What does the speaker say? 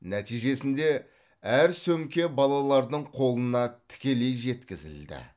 нәтижесінде әр сөмке балалардың қолына тікелей жеткізілді